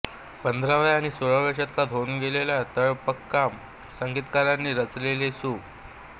पंधराव्या आणि सोळाव्या शतकांत होऊन गेलेल्या ताळ्ळपाक्कम् संगीतकारांनी रचिलेली सु